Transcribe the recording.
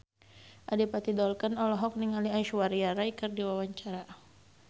Adipati Dolken olohok ningali Aishwarya Rai keur diwawancara